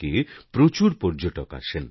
এটা এক গুরুত্বপূর্ণ ট্যুরিস্ট ডেস্টিনেশন